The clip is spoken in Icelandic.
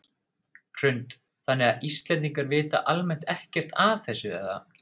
Hrund: Þannig að Íslendingar vita almennt ekkert af þessu eða?